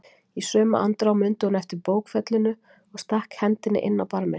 Í sömu andrá mundi hún eftir bókfellinu og stakk hendinni inn á barminn.